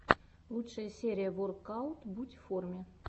лучшая серия воркаут будь в форме